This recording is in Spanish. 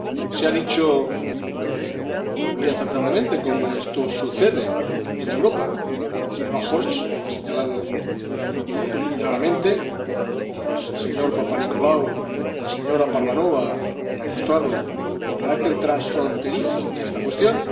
Se ha dicho, muy acertadamente, cómo esto sucede en Europa, la señora Hirsch lo ha señalado claramente, y el señor Papanikolaou y la señora Parvanova han mostrado el carácter transfronterizo de esta cuestión.